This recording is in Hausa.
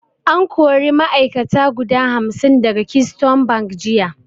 An kari ma'ai'kata guda hamsin daga keystone bank jiya